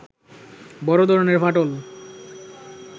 বড় ধরনের ফাটল